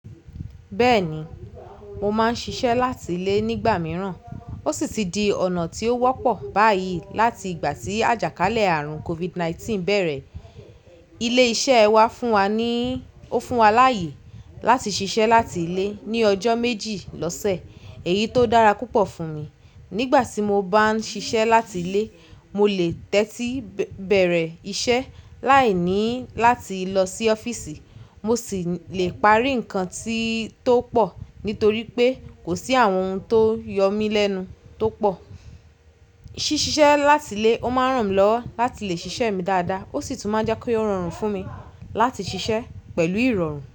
Bẹ́ẹ̀ni, mo máa ń ṣiṣẹ́ láti ilé nígbà mìíràn. Ó sì ti di ọ̀nà tí ó wọ́pọ̀ báyìí láti ìgbà tí àjàkálẹ̀ àrùn COVID-19 bẹ̀rẹ̀. Ilé-iṣẹ́ wa fún wa níí, ó fún wa láyè láti ṣiṣẹ́ láti ilé ní ọjọ́ méjì lọ́sẹ̀. Èyí tó dára púpọ̀ fún mi. Nígbà tí mo bá ń ṣiṣẹ́ láti ilé, mo lè tẹ́tí bẹ̀rẹ̀ iṣẹ́ láìní láti lọ sí ọ́fíìsì. Mo sì lè parí nǹkan tí tó pọ̀ nítorí pé kò sí àwọn ohun tó yọ mí lẹ́nu tó pọ̀. Ṣísiṣẹ́ láti ilé, ó máa ń ràn mí lọ́wọ́ láti lè ṣiṣẹ́ mi dáadáa. Ó sì tún máa ń jẹ́ kó rọrùn fún mi láti ṣiṣẹ́ pẹ̀lú ìrọ̀rùn.